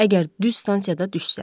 O da əgər düz stansiyada düşsə.